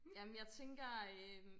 Jamen jeg tænker øh